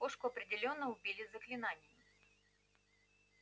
кошку определённо убили заклинанием